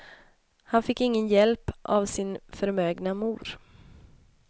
Han fick ingen hjälp av sin förmögna mor.